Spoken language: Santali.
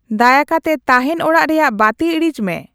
ᱫᱟᱭᱟᱠᱟᱛᱮ ᱛᱟᱦᱮᱱ ᱚᱲᱟᱜ ᱨᱮᱭᱟᱜ ᱵᱟᱹᱛᱤ ᱤᱲᱤᱡ ᱢᱮ